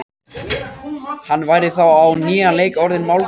Hann væri þá á nýjan leik orðinn málgagn.